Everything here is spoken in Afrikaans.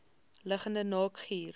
liggende naak guur